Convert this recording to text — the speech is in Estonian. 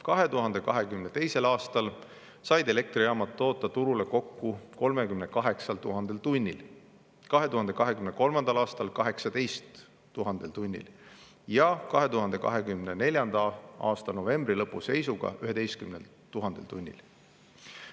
2022. aastal said elektrijaamad toota turule kokku 38 000 tunnil, 2023. aastal 18 000 tunnil ja 2024. aasta novembri lõpu seisuga 11 000 tunnil.